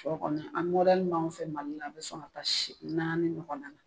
Sɔ kɔni an min b'anw fɛ Mali la a bɛ sɔn ka taa see naani ɲɔgɔn na